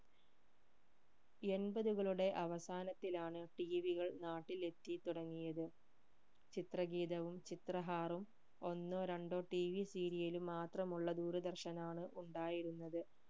എൺപതുകളുടെ അവസാനത്തിലാണ് tv കൾ നാട്ടിലെത്തി തുടങ്ങിയത് ചിത്രഗീതവും ചിത്രഹാറും ഒന്നോ രണ്ടോ tvserial ഉം മാത്രമുള്ള ദൂരദർശനാണ് ഉണ്ടായിരുന്നത്